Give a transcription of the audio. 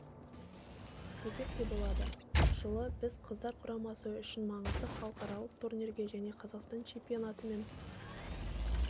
десек те болады жылы біз қыздар құрамасы үшін маңызды халықаралық турнирге және қазақстан чемпионаты мен